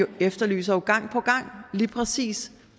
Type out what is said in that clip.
gang efterlyser lige præcis